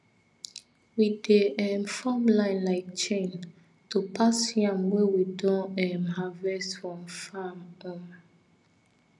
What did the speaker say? we dey um form line like chain to pass yam wey we don um harvest from farm um